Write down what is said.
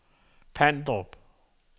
Pandrup